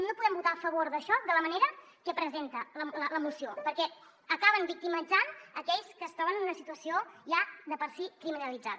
no podem votar a favor d’això de la manera que ho presenta la moció perquè acaben victimitzant aquells que es troben en una situació ja de per si criminalitzada